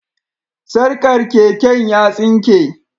Sarkar keken ya tsinke